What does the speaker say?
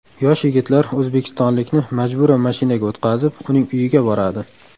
Yosh yigitlar o‘zbekistonlikni majburan mashinaga o‘tqazib, uning uyiga boradi.